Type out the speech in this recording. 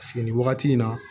Paseke nin wagati in na